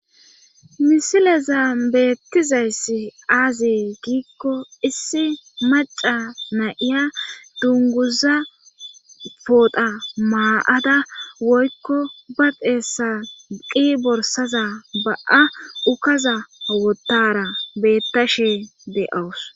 misilezan beettizayssi aazi giikko issi maca na7iya dunguza poodha maa7ada woykko ba xeessa qi borsaza ba7a ukaza awotara beettashe de7awus